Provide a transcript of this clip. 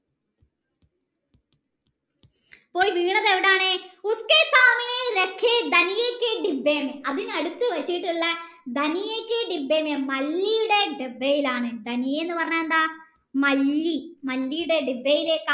പോയി വീണത് എവിടെയാണ് അതിനടുത്ത വെച്ചിട്ടുള്ള മല്ലിയുടെ ഡബ്ബയിലാണ് എന്ന് പറഞ്ഞാൽ എന്താ മല്ലി മല്ലീടെ ഡബ്ബയിലേക്കാണ്